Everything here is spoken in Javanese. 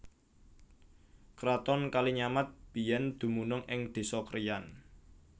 Kraton Kalinyamat biyèn dumunung ing désa Kriyan